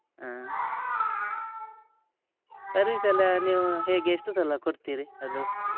ಹಾ service ಎಲ್ಲ ನೀವು ಹೇಗೆ ಎಷ್ಟು ಸಲ ಕೊಡ್ತೀರಿ ಅದು?